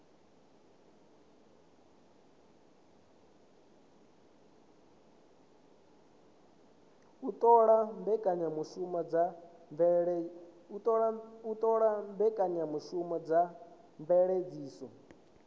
u ṱola mbekanyamushumo dza mveledziso